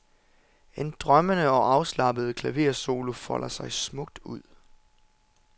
En drømmende og afslappet klaversolo folder sig smukt ud.